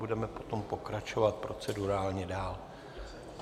Budeme potom pokračovat procedurálně dál.